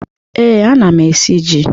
Ee, ana m esi ji.